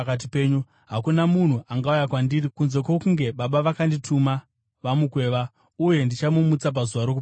Hakuna munhu angauya kwandiri kunze kwokunge Baba vakandituma vamukweva, uye ndichamumutsa pazuva rokupedzisira.